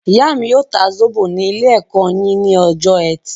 Ìyá mí yóò ta zóbò ní ilé-ẹ̀kọ́ yín ní ọjọ ẹtì